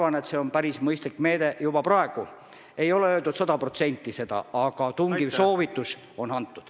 Andke palun hinnang praegusele ja põhjendage ka natukene!